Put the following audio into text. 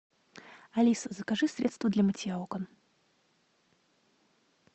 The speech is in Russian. алиса закажи средство для мытья окон